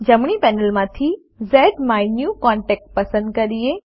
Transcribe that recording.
જમણી પેનલમાંથી ઝ્માયન્યુકોન્ટેક્ટ પસંદ કરીએ